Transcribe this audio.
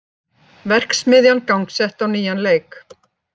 Verksmiðjan gangsett á nýjan leik